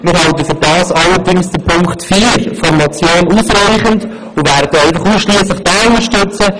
wir halten dafür allerdings Punkt 4 der Motion für ausreichend und werden ausschliesslich diesen unterstützen.